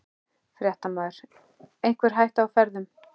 Fréttamaður: Einhver hætta á ferðum?